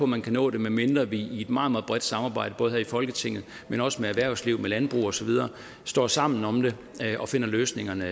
man kan nå det medmindre vi i et meget meget bredt samarbejde både her i folketinget men også med erhvervslivet landbruget osv står sammen om det og finder løsningerne